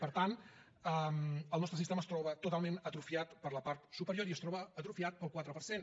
per tant el nostre sistema es troba totalment atrofiat per la part superior i es troba atrofiat pel quatre per cent